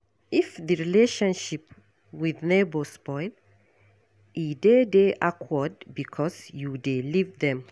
If di relationship with neighbour spoil, e dey de awkward because you dey live dem